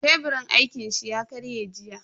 Teburin aikin shi ya karye jiya.